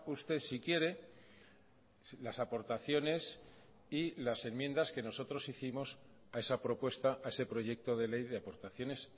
usted si quiere las aportaciones y las enmiendas que nosotros hicimos a esa propuesta a ese proyecto de ley de aportaciones